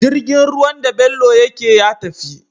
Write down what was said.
Jirgin ruwan da bello yake ya tafi